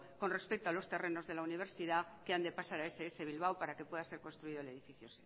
con respecto a los terrenos de la universidad que han de pasar a ess bilbao para que pueda ser construido el edificio